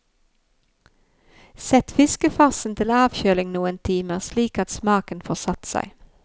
Sett fiskefarsen til avkjøling noen timer, slik at smaken får satt seg.